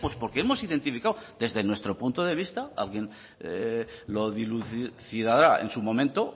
pues porque hemos identificado desde nuestro punto de vista alguien lo dilucidará en su momento